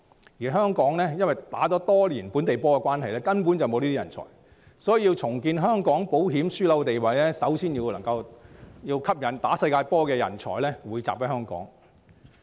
由於香港打了多年"本地波"，根本缺乏這類人才，所以要重建香港保險樞紐的地位，首先要吸引能夠打"世界波"的人才匯集香港。